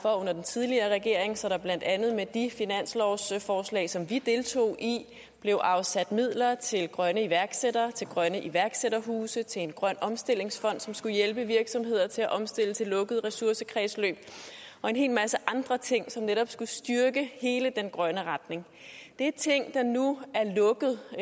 for under den tidligere regering så der blandt andet med de finanslovsforslag som vi deltog i blev afsat midler til grønne iværksættere til grønne iværksætterhuse til en grøn omstillingsfond som skulle hjælpe virksomheder til at omstille til lukkede ressourcekredsløb og en hel masse andre ting som netop skulle styrke hele den grønne retning det er ting der nu er lukket og